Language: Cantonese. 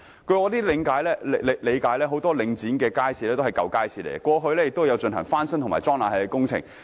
據我理解，很多領展轄下的街市也是舊式街市，過往亦曾進行翻新和安裝空調工程。